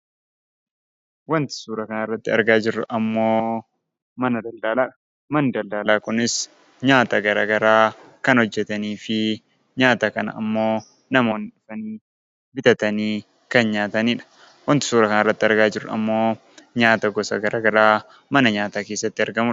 Waanti suura kanarratti argaa jirru ammoo mana daldalaadha. Manni daladalaa kunis nyaata gara garaa kan hojjetanii fi nyaata kana ammoo namoonni bitatanii kan nyaatanidha. Waanti suura kanarratti argaa jirru ammoo nyaata gosa garaa garaa mana nyaataa keessatti argamudha.